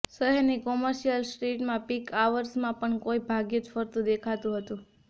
શહેરની કોમર્શિયલ સ્ટ્રીટમાં પીક આવર્સમાં પણ કોઈ ભાગ્યે જ ફરતું દેખાયું હતું